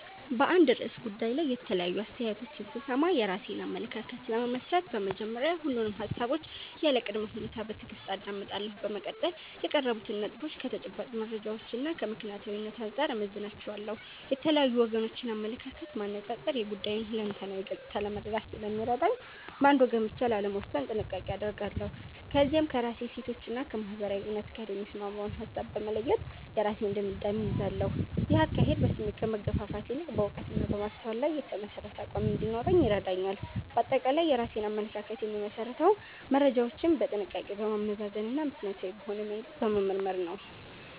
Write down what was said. በአንድ ርዕሰ ጉዳይ ላይ የተለያዩ አስተያየቶችን ስሰማ፣ የራሴን አመለካከት ለመመስረት በመጀመሪያ ሁሉንም ሃሳቦች ያለ ቅድመ ሁኔታ በትዕግስት አዳምጣለሁ። በመቀጠል የቀረቡትን ነጥቦች ከተጨባጭ መረጃዎችና ከምክንያታዊነት አንጻር እመዝናቸዋለሁ። የተለያዩ ወገኖችን አመለካከት ማነጻጸር የጉዳዩን ሁለንተናዊ ገጽታ ለመረዳት ስለሚረዳኝ፣ በአንድ ወገን ብቻ ላለመወሰን ጥንቃቄ አደርጋለሁ። ከዚያም ከራሴ እሴቶችና ከማህበረሰባዊ እውነት ጋር የሚስማማውን ሃሳብ በመለየት የራሴን ድምዳሜ እይዛለሁ። ይህ አካሄድ በስሜት ከመገፋፋት ይልቅ በዕውቀትና በማስተዋል ላይ የተመሠረተ አቋም እንዲኖረኝ ይረዳኛል። ባጠቃላይ የራሴን አመለካከት የምመሰርተው መረጃዎችን በጥንቃቄ በማመዛዘንና ምክንያታዊ በሆነ መንገድ በመመርመር ነው።